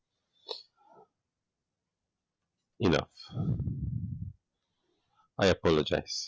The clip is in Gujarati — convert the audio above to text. enough i apologize